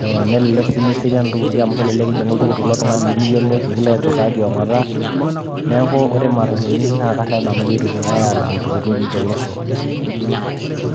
eh, nelelek sii meserian iltukutuki amu kelelek ijing oltukutuk loltung'ani lemiyiolo nikilo aiturra tiong'ota neeku ore imatatuni naa karrep nanu pitumiae alang'u iltukutuki tolosho.